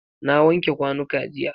Na wanke kwanuka jiya.